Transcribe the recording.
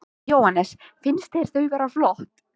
Jóhannes: Finnst þér þau vera flott?